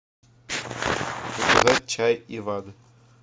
заказать чай иван